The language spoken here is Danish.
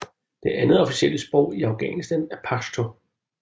Det andet officielle sprog i Afghanistan er pashto